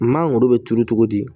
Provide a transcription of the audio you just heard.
Mangoro bɛ turu cogo di